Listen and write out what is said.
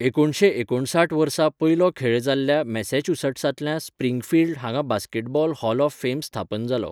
एकुणशे एकूणसठ वर्सा पयलो खेळ जाल्ल्या मॅसॅच्युसेट्सांतल्या स्प्रिंगफील्ड हांगा बास्केटबॉल हॉल ऑफ फेम स्थापन जालो.